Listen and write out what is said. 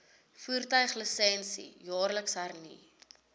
voertuiglisensie jaarliks hernu